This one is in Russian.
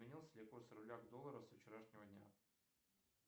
изменился ли курс рубля к доллару со вчерашнего дня